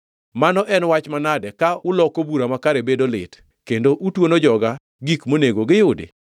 Mano en wach manade ka uloko bura makare bedo lit, kendo utuono joga gik monego giyudi.